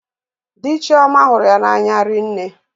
Dị Chioma hụrụ ya n'anya rinne.